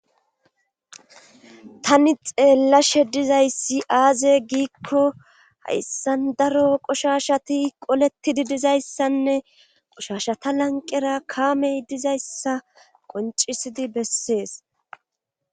Tani xeellashe dizayssi aaze giikko hayssan daro qushashati qolettidi dizayssanne qoshashata lanqera kaamey dizayssa qoncisidi bessees.